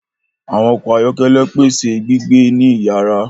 Àwọn ọkọ ayọkẹlẹ pèsè gbígbé ní iyara